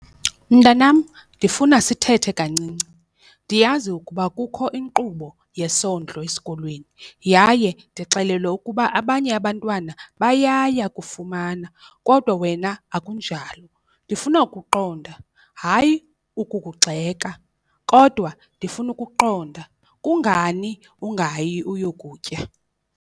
Mntanam, ndifuna sithethe kancinci. Ndiyazi ukuba kukho inkqubo yesondlo esikolweni yaye ndixelelwe ukuba abanye abantwana bayaya kufumana kodwa wena akunjalo. Ndifuna ukuqonda, hayi ukukugxeka, kodwa ndifuna ukuqonda kungani ungayi uyokutya?